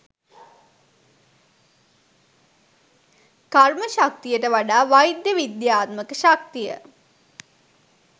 කර්ම ශක්තියට වඩා වෛද්‍ය විද්‍යාත්මක ශක්තිය